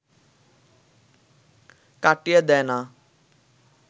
কাটিয়ে দেয় না